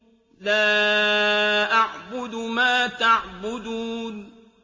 لَا أَعْبُدُ مَا تَعْبُدُونَ